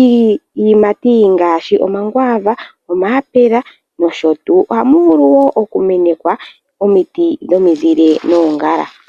Iiyimati ongaashi omakwaava, omayapula nosho tuu. OHamu vulu wo okumenekwa omiti dhomizile noongala.